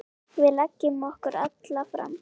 Við leggjum okkur alla fram.